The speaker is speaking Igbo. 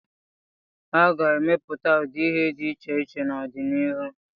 A ga-emepụta ụdị ihe dị iche iche n'ọdịnihu.